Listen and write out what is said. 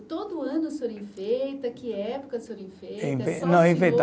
Todo ano o senhor enfeita? Que época o senhor enfeita?